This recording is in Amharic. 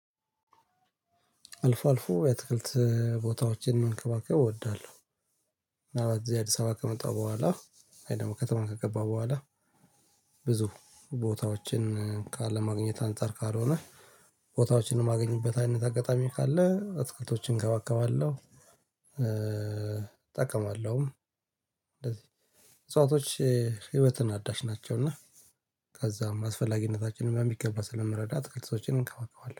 አልፎ አልፎ የአትክልት ቦታዎችን መንከባከብ እወዳለሁ። እና በዚህ አዲስ አበባ ከመጣሁ በኋላ ወይ ደግሞ ከተማ ከገባሁ በኋላ። ብዙ ቦታዎችን ካለ ማግኘት አንፃር ካልሆነ ቦታዎችን የማገኝበት አይነት አጋጣሚ ካለ አትክልቶችን እንከባከባለሁ። እጠቀማለሁ። እንደዚህ እጽዋቶች ህይወትን አዳሽ ናቸው። እና ከዛም አስፈላጊነታችንን በሚገባ ስለመረዳት አትክልቶችን እንከባከባለሁ